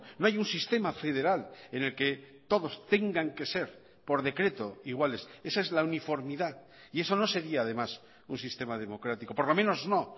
no hay un sistema federal en el que todos tengan que ser por decreto iguales esa es la uniformidad y eso no sería además un sistema democrático por lo menos no